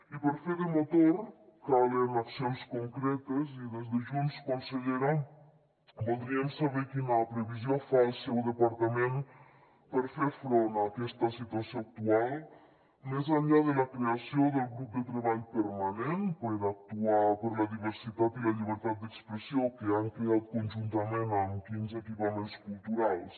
i per fer de motor calen accions concretes i des de junts consellera voldríem saber quina previsió fa el seu departament per fer front a aquesta situació actual més enllà de la creació del grup de treball permanent per actuar per la diversitat i la llibertat d’expressió que han creat conjuntament amb quins equipaments culturals